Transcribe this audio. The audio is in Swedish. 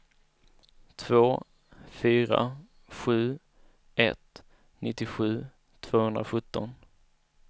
två fyra sju ett nittiosju tvåhundrasjutton